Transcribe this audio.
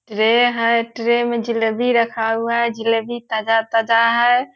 tray है tray मे जलेबी रखा हुआ है जलेबी ताजा-ताजा है |